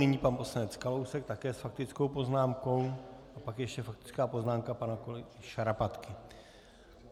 Nyní pan poslanec Kalousek také s faktickou poznámkou a pak ještě faktická poznámka pana kolegy Šarapatky.